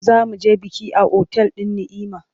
Za mu je biki a otal din Ni’ima.